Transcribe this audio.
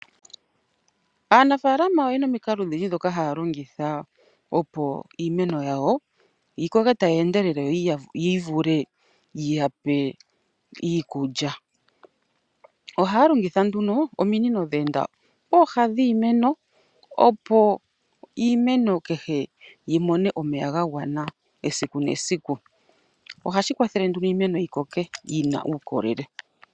Aanafaalama oyena omikalo odhindji ndhoka haya longitha opo iimeno yawo yi koke tayi endelele yivule yiyape iikulya. Ohaya longitha nduno ominino dhe enda pooha dhiimeno opo iimeno kehe yimone omeya ga gwana esiku nesiku . Ohashi kwathele nduno iimeno yikoke yina uukolele.